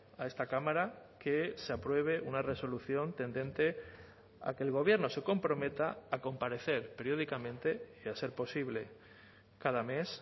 a esta cámara que se apruebe una resolución tendente a que el gobierno se comprometa a comparecer periódicamente y a ser posible cada mes